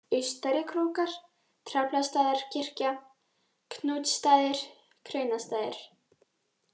Austari-Krókar, Draflastaðakirkja, Knútsstaðir, Kraunastaðir